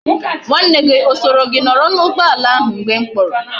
Nwa nne gi e so gi noro na ugboala ahu mgbe m kporo?